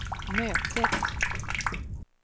mötet